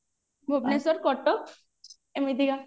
ଭୁବନେଶ୍ଵର କଟକ ଏମିତିକା